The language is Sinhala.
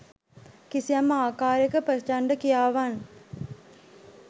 කිසියම් ආකාරයක ප්‍රචණ්ඩ ක්‍රියාවන්